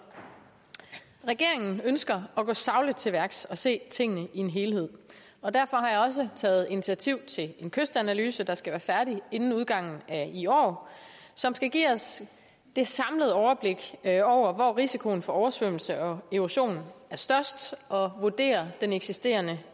regeringen ønsker at gå sagligt til værks og se tingene i en helhed og derfor har jeg også taget initiativ til en kystanalyse der skal være færdig inden udgangen af i år som skal give os det samlede overblik over hvor risikoen for oversvømmelse og erosion er størst og vurdere den eksisterende